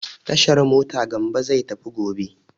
Tashar mota Gambo zai tafi gobe.